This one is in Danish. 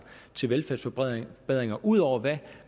til velfærdsforbedringer ud over hvad